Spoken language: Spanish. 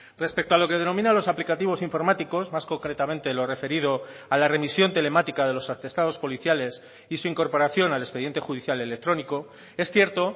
respecto a lo que denomina los aplicativos informáticos más concretamente lo referido a la remisión telemática de los atestados policiales y su incorporación al expediente judicial electrónico es cierto